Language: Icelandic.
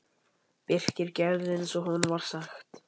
Birkir gerði eins og honum var sagt.